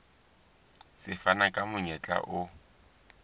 se fana ka monyetla o